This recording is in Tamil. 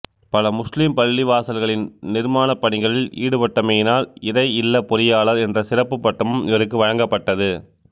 பல முஸ்லிம் பள்ளிவாசல்களின் நிர்மானப் பணிகளில் ஈடுபட்டமையினால் இறை இல்லப் பொறியியளாளர் என்ற சிறப்புப் பட்டமும் இவருக்கு வழங்கப்பட்டது